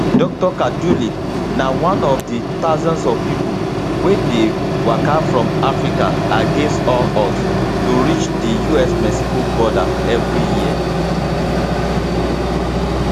dr kaduli na one of di thousands of pipo wey dey waka from africa against all odds to reach di usmexico border evri year